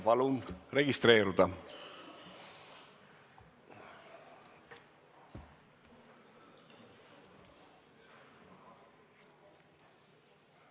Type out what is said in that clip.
Palun registreeruda!